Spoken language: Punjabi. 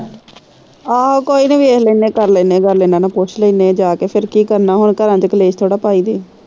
ਆਹੋ ਕੋਈ ਨਹੀਂ ਵੇਖ ਲੈਣੇ ਕਰ ਲੈਣੇ ਗੱਲ ਇਹਨਾਂ ਨਾ ਪੁੱਛ ਲੈਣੇ ਜਾ ਕੇ ਫਿਰ ਕੀ ਕਰਨਾ ਹੋਰ ਘਰਾ ਚ ਕਲੇਸ਼ ਥੋੜੀ ਪਾਈ ਦੇ ਆ।